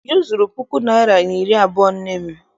Uju zuru puku naịra na iri abụọ nne m.